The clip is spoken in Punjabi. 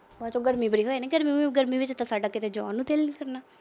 ਉਦੋਂ ਤਾਂ ਗਰਮੀ ਬੜੀ ਹੋ ਜਾਣੀ ਆ। ਗਰਮੀ ਚ ਤਾਂ ਸਾਡਾ ਕਿਤੇ ਜਾਣ ਨੂੰ ਦਿਲ ਨੀ ਕਰਨਾ।